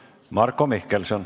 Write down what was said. Marko Mihkelson.